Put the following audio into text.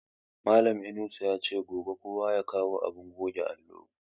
Malan Inusa yace gobe kowa ya kawo abin goge allo